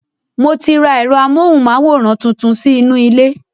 Mo ti ra ẹ̀rọ amóhùnmáwòrán tuntun sí inú ilé